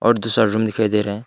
दूसरा रूम दिखाई दे रहा है।